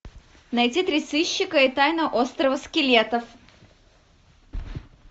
найти три сыщика и тайна острова скелетов